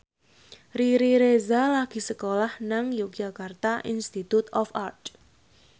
Riri Reza lagi sekolah nang Yogyakarta Institute of Art